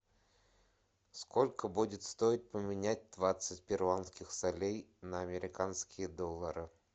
сколько будет стоить поменять двадцать перуанских солей на американские доллары